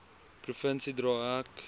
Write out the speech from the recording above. provinsie dra ek